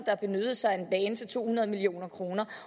der benyttede sig af en bane til to hundrede million kroner